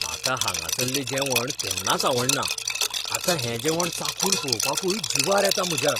म्हाका हांगासल्ले जेवण केन्नाच आवडना, आतां हें जेवण चाखून पळोवपाकूय जीवार येता म्हज्या.